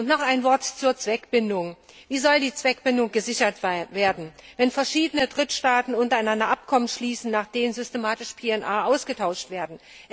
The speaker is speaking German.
Noch ein Wort zur Zweckbindung Wie soll die Zweckbindung gesichert werden, wenn verschiedene Drittstaaten untereinander Abkommen schließen, nach denen systematisch PNR ausgetauscht werden?